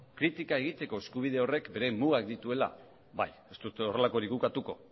kritika egiteko eskubide horrek bere mugak dituela bai ez dut horrelakorik ukatuko